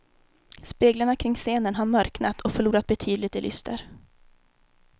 Speglarna kring scenen har mörknat och förlorat betydligt i lyster.